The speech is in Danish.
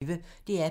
DR P1